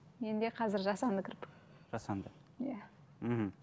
менде қазір жасанды кірпік жасанды иә мхм